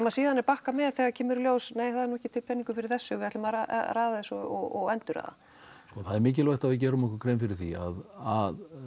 síðan er bakkað með þegar það kemur í ljós nei það er nú ekki til peningur fyrir þessu við ætlum að raða þessu og endurraða sko það er mikilvægt að við gerum okkur grein fyrir því að